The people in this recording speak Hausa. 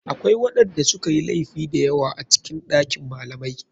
Akwai waɗanda sukayi laifi dayawa a cikin ɗakin malamai.